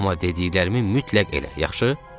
Amma dediklərimi mütləq elə, yaxşı?